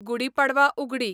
गुडी Padwa उगडी